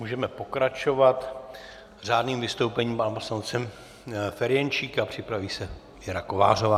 Můžeme pokračovat řádným vystoupením pana poslance Ferjenčíka, připraví se Věra Kovářová.